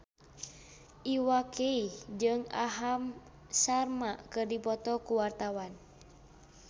Iwa K jeung Aham Sharma keur dipoto ku wartawan